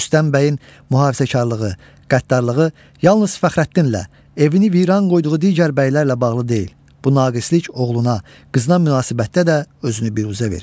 Rüstəm bəyin mühafizəkarlığı, qəddarlığı yalnız Fəxrəddinlə, evini viran qoyduğu digər bəylərlə bağlı deyil, bu naqislik oğluna, qızına münasibətdə də özünü büruzə verir.